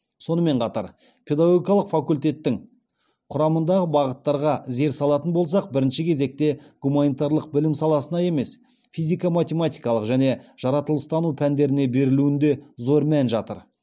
сонымен қатар педагогикалық факультеттің құрамындағы бағыттарға зер салатын болсақ бірінші кезекте гуманитарлық білім саласына емес физико математикалық және жаратылыстану пәндеріне берілуінде зор мән жатыр